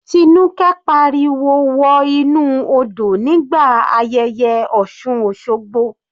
Tinuke pariwo wọ inú odò nígbà ayẹyẹ osun osogbo.